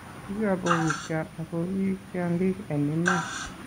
"Kikabokityo ak kii tyong'ik en iman